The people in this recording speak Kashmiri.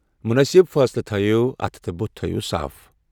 مُنٲسِب فٲصلہٕ تھٲوِو، اَتھٕ تہٕ ٲس تھٲوِو صاف۔